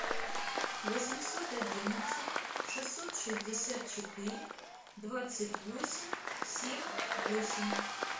восемьсот одиннадцать шестьсот шестьдесят четыре двадцать восемь семь восемь